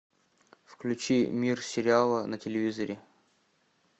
включи мир сериала на телевизоре